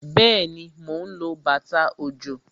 Bẹẹni, mo ń lo bàtà òjò